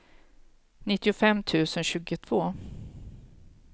nittiofem tusen tjugotvå